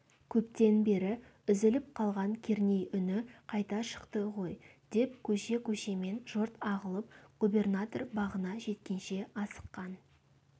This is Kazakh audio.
көптен бері үзіліп қалған керней үні қайта шықты ғой деп көше-көшемен жұрт ағылып губернатор бағына жеткенше асыққан